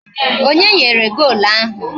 Onye nyere golu ahụ?